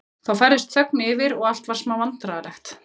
Þá færðist þögn yfir og allt varð smá vandræðalegt.